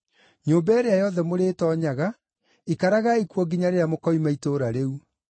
Nyũmba ĩrĩa yothe mũrĩtoonyaga ikaragai kuo nginya rĩrĩa mũkoima itũũra rĩu.